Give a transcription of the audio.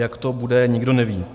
Jak to bude, nikdo neví.